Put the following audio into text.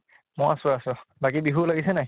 মই আছো আছো, বাকী বিহু লাগিছে নে নাই?